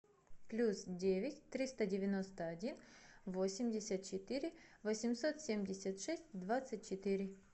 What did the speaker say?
плюс девять триста девяносто один восемьдесят четыре восемьсот семьдесят шесть двадцать четыре